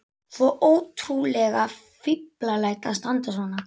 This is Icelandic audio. Svo ótrúlega fíflalegt að standa svona.